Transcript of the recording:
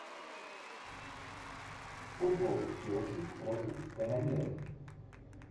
футбол челси против канониров